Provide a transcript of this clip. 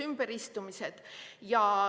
ümberistumised.